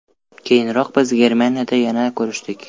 Keyinroq biz Germaniyada yana ko‘rishdik.